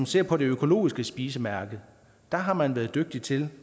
ser på det økologiske spisemærke har man været dygtig til